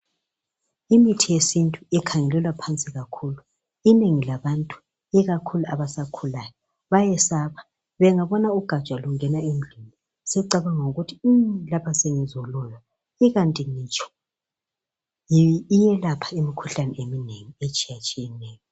Imithi yesintu ikhangelelwa phansi kakhulu. Inengi labantu, ikakhulu abasakhulayo, bayesaba, bengabona ugatsha lungena endlini sebecabanga ukuthi sengizoloywa, ikanti ngitsho yikuyelapha imikhuhlane eminengi etshiyatshiyeneyo.